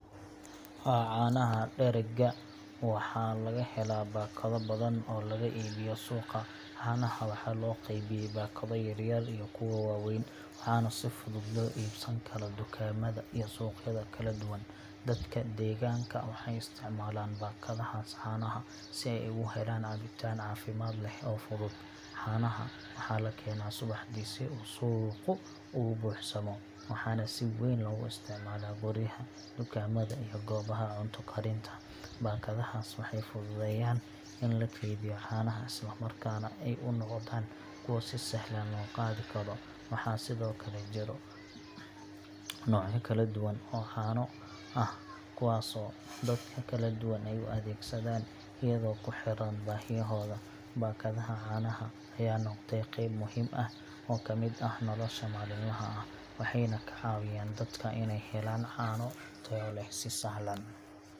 Waa canaha dharaga. Waxana lagahelah bakado badan oo laga ii biyo suqa. Canaha waxa looqey biyay bakado yaryar iyo kuwa waa weyn. Waxana sifudud loo ibsan karaa tukamada iyo suuq yada kala duwan. Dadka deganka waxay istic malan bakada haas canaha. Si ay oga helaan cabitaan leh cafimad oo fudud. Canaha waxa lakena subixidi si uu suuqu ubuuxsamo. Waxana si waayen loga isticmala guryaha, tukamad iyo goobaha cunta karinta. Baakadaha waxay fududeyan in laqeybiyo cana haas isla markaas si aay umoqdaan kuwa sisahlam loo qadikaro. Waxa sidokale jiro noocya kala duwan oo cano ah kuwaa soo dadka kala duwan u adeg sadan ayido kuxiraan baahiya hoda. Baakadaha canaha aya noqdeen qeeb muhiim ah oo kamid ah nolosha maalin laha ah. Waxayna ka caawiyan dadka inay helaan caano tayo leh si sahlan.